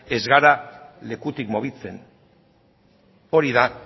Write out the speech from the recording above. ez gara lekutik mugitzen hori da